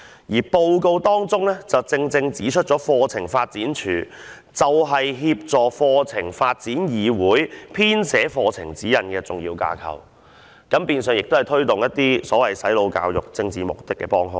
這份報告正正指出了課程發展處作為協助課程發展議會編寫課程指引的重要機關，亦變相成為了推動"洗腦"教育以達致政治目的的幫兇。